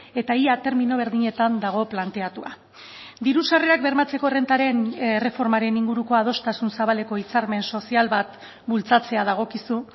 eta ia termino berdinetan dago planteatua diru sarrerak bermatzeko errentaren erreformaren inguruko adostasun zabaleko hitzarmen sozial bat bultzatzea dagokizu